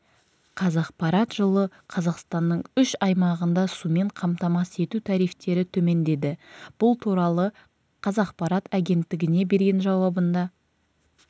қазақпарат жылы қазақстанның үш аймағында сумен қамтамасыз ету тарифтері төмендеді бұл туралы қазақпарат агенттігіне берген жауабында